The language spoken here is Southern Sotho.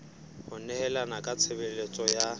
ho nehelana ka tshebeletso ya